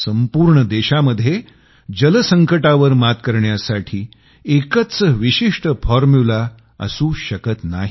संपूर्ण देशामध्ये जलसंकटावर मात करण्यासाठी एकच विशिष्ट फॉम्र्युला असू शकत नाही